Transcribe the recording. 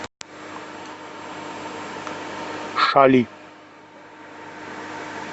шали